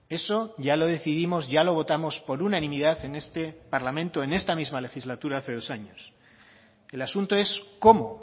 eso ya lo decidimos ya lo votamos por unanimidad en este parlamento en esta misma legislatura hace dos años el asunto es cómo